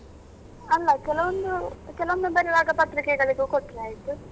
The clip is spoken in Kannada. ಅಲ್ಲ ಕೆಲವೊಂದು ಕೆಲವೊಮ್ಮೆ ಬರಿವಾಗ ಪತ್ರಿಕೆಗಳಿಗೂ ಕೊಟ್ರೆ ಆಯ್ತು.